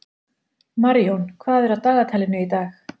Marjón, hvað er á dagatalinu í dag?